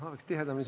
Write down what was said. Aitäh!